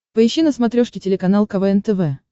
поищи на смотрешке телеканал квн тв